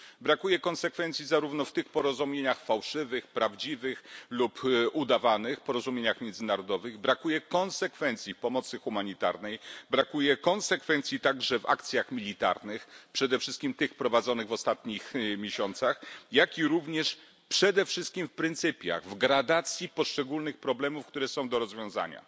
Brakuje konsekwencji zarówno w tych porozumieniach fałszywych, prawdziwych lub udawanych, porozumieniach międzynarodowych. Brakuje konsekwencji w pomocy humanitarnej, brakuje konsekwencji także w akcjach militarnych, przede wszystkim tych prowadzonych w ostatnich miesiącach, a przede wszystkim w pryncypiach, w gradacji poszczególnych problemów, które są do rozwiązania.